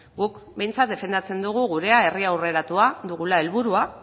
guk behintzat defendatzen dugu gurea herri aurreratua dugula helburua